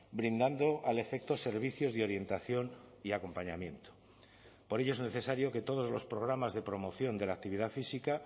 brindando al efecto servicios de orientación y acompañamiento por ello es necesario que todos los programas de promoción de la actividad física